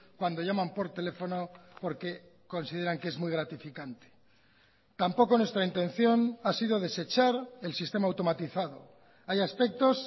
cuando llaman por teléfono porque consideran que es muy gratificante tampoco nuestra intención ha sido desechar el sistema automatizado hay aspectos